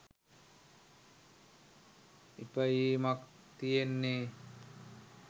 ඉපයීමක් තියෙන්නෙ.